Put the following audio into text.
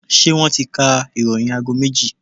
Ṣé wọ́n ti ka ìròyìn aago méjì?